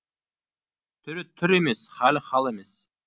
түрі түр емес халі хал емес